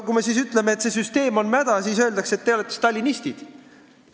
Kui me siis ütleme, et see süsteem on mäda, siis öeldakse, et te olete stalinistid.